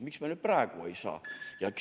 Miks me siis praegu ei saa?